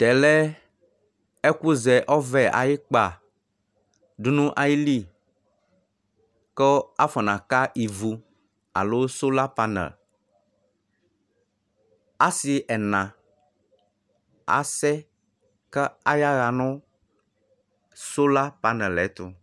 Tɛ lɛ ɛkʋzɛ ɔvɛ ayʋ ikpadu nʋ ayʋ ili, kʋ afɔnaka ivu alo sɔlapanɛlɩ Asi ɛna asɛ, kʋ ayaɣa nʋ sɔlapanɛlɩ yɛ ɛtʋ